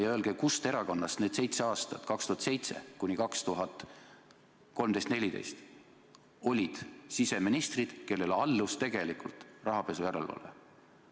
Ja öelge, kust erakonnast need seitse aastat, 2007 kuni 2013–2014 olid siseministrid, kellele allus tegelikult rahapesu järelevalve?